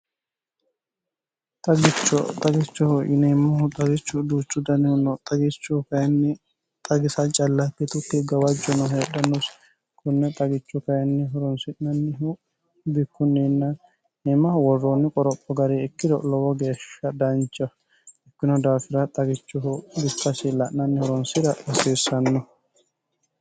ixagichohu yiniemmahu xagichu duuchu danihu no xagichohu kayinni xagisa callapitutti gawajju no heedhannosi kunne xagichu kayinni horonsi'nannihu bikkunniinnanimmaho worroonni qoropho gari ikkiro lowo geeshsha dancheho ikkino daafira xagichohu biffasi la'nanni horonsira lasiissanno